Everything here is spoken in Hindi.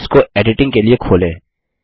और इसको एडिटिंग के लिए खोलें